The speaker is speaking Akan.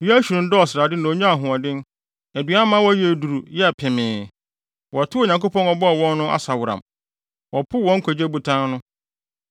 Yeshurun dɔɔ srade na onyaa ahoɔden; aduan ma wɔyɛɛ duru, yɛɛ pemee. Wɔtoo Onyankopɔn a ɔbɔɔ wɔn no asaworam; wɔpoo wɔn Nkwagye Botan no.